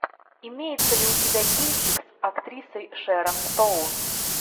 имеется ли у тебя кинчик с актрисой шэрон стоун